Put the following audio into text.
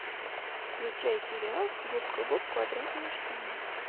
включай сериал губка боб квадратные штаны